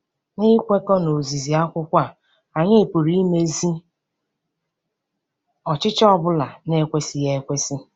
N'ikwekọ n'ozizi akwụkwọ, anyị pụrụ imezi ọchịchọ ọ bụla na-ekwesịghị ekwesị.